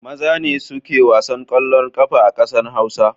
Maza ne suke wasan ƙeallon ƙafa a ƙasar Hausa.